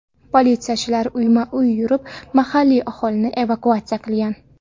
Politsiyachilar uyma-uy yurib mahalliy aholini evakuatsiya qilgan.